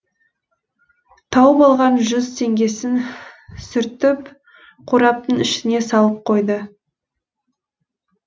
тауып алған жүз теңгесін сүртіп қораптың ішіне салып қойды